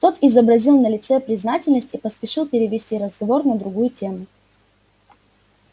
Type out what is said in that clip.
тот изобразил на лице признательность и поспешил перевести разговор на другую тему